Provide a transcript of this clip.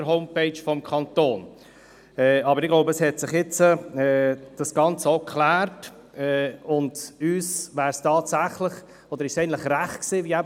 Die SVP kann aber trotzdem ganz klar mit diesem «weitestgehend» leben.